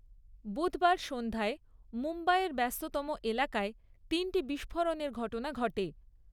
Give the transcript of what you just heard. বুধবার সন্ধ্যায় মুম্বাইয়ের ব্যস্ততম এলাকায় তিনটি বিস্ফোরণের ঘটনা ঘটে।